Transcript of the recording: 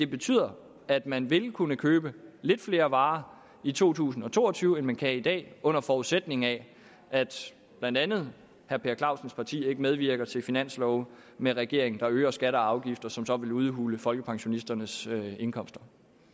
betyder at man vil kunne købe lidt flere varer i to tusind og to og tyve end man kan i dag under forudsætning af at blandt andet herre per clausens parti ikke medvirker til finanslove med regeringen der øger skatter og afgifter som så vil udhule folkepensionisternes indkomster